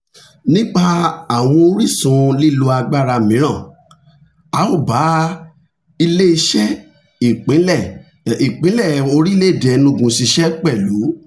nípa àwọn orísun lílo agbára mìíràn a ó bá ile-iṣẹ ìpínlẹ̀ ìpínlẹ̀ orílẹ̀-èdè enugu ṣiṣẹ́ pẹ̀lú